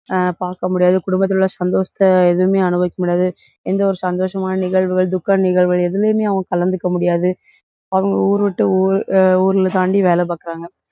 அஹ் பார்க்க முடியாது. குடும்பத்தில் உள்ள சந்தோஷத்தை எதுவுமே அனுபவிக்க முடியாது. எந்த ஒரு சந்தோஷமான நிகழ்வுகள், துக்க நிகழ்வுகள் எதுலையுமே அவங்க கலந்துக்க முடியாது. அவங்க ஊரு விட்டு ஊர் ஊர்ல தாண்டி வேலை பாக்கறாங்க.